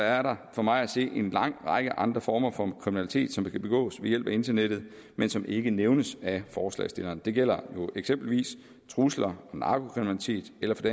er der for mig at se en lang række andre former for kriminalitet som kan begås ved hjælp af internettet men som ikke nævnes af forslagsstillerne det gælder jo eksempelvis trusler narkokriminalitet eller for